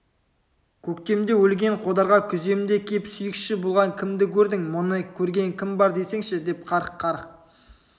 көктемде өлген қодарға күземде кеп сүйекші болған кімді көрдің мұны көрген кім бар десеңші деп қарқ-қарқ